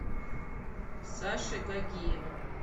саши гагиева